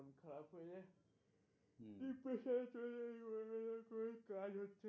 Depression এ চলে যায় কাজ হচ্ছে না